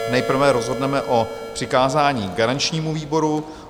Nejprve rozhodneme o přikázání garančnímu výboru.